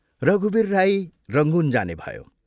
रघुवीर राई रंगून जाने भयो।